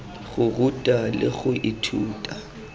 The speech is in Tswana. go ruta le go ithuta